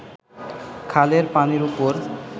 খালের পানির ওপর